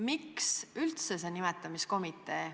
Miks üldse see nimetamiskomitee?